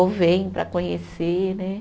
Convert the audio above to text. Ou vêm para conhecer, né?